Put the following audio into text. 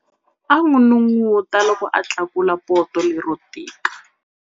A n'unun'uta loko a tlakula poto lero tika.